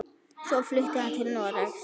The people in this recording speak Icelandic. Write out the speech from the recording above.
Svo flutti hann til Noregs.